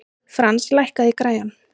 Frans, lækkaðu í græjunum.